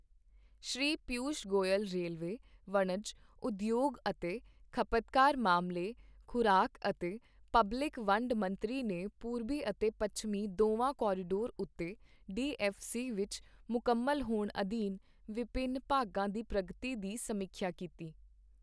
ਸ਼੍ਰੀ Piyush Goyal railway, ਵਣਜ, ਉਦਯੋਗ ਅਤੇ ਖਪਤਕਾਰ ਮਾਮਲੇ, ਖ਼ੁਰਾਕ ਅਤੇ ਪਬਲਿਕ ਵੰਡ ਮੰਤਰੀ ਨੇ ਪੂਰਬੀ ਅਤੇ ਪੱਛਮੀ ਦੋਵਾਂ ਕੋਰੀਡੋਰ ਉੱਤੇ ਡੀ ਐੱਫ ਸੀ ਵਿੱਚ ਮੁਕੰਮਲ ਹੋਣ ਅਧੀਨ ਵਿਭਿੰਨ ਭਾਗਾਂ ਦੀ ਪ੍ਰਗਤੀ ਦੀ ਸਮੀਖਿਆ ਕੀਤੀ